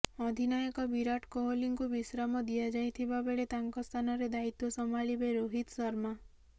ଅଧିନାୟକ ବିରାଟ କୋହଲିଙ୍କୁ ବିଶ୍ରାମ ଦିଆଯାଇଥିବା ବେଳେ ତାଙ୍କ ସ୍ଥାନରେ ଦାୟିତ୍ୱ ସମ୍ଭାଳିବେ ରୋହିତ ଶର୍ମା